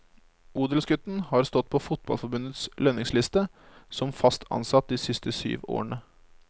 Odelsgutten har stått på fotballforbundets lønningsliste som fast ansatt de siste syv årene.